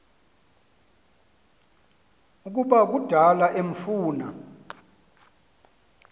ukuba kudala emfuna